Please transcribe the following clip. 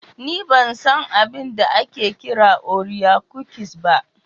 Ni ban san abin da ake kira orea cookies ba.